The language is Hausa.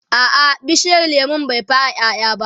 a'a bishiyar lemun bai fara ƴaƴa ba